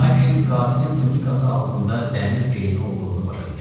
Lakin qatilin tunikası altında dəmir geyimi olduğunu başa düşdü.